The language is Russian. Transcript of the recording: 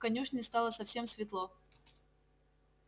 в конюшне стало совсем светло